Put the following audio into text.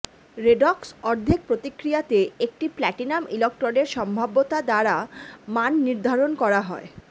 redox অর্ধেক প্রতিক্রিয়াতে একটি প্ল্যাটিনাম ইলেক্ট্রোডের সম্ভাব্যতা দ্বারা মান নির্ধারণ করা হয়